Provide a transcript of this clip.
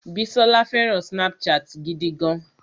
Bísọ́lá fẹràn Snapchat gidi gan.